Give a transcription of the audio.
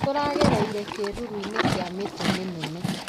Tũragereire kĩruru-inĩ kĩa mĩtĩ mĩnene